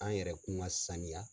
An yɛrɛkun ka saniya.